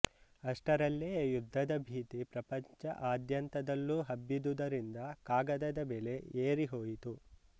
ಅಷ್ಟರಲ್ಲೇ ಯುದ್ದದ ಭೀತಿ ಪ್ರಪಂಚ ಅದ್ಯಂತದಲ್ಲೂ ಹಬ್ಬಿದ್ದುದರಿಂದ ಕಾಗದದ ಬೆಲೆ ಏರಿ ಹೋಯಿತು